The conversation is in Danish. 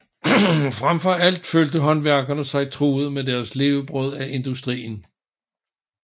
Frem for alt følte håndværkerne sig truet på deres levebrød af industrien